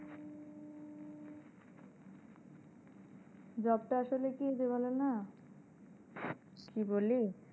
job টা আসলে কি বলেনা হ্যাঁ কি বলি?